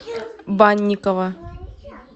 банникова